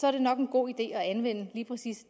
er det nok en god idé at anvende lige præcis